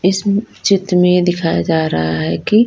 इस म चित्र में दिखाया जा रहा है कि--